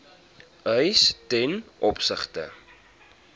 eise ten opsigte